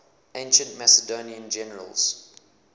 ancient macedonian generals